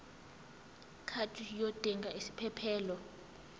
card yodinga isiphephelok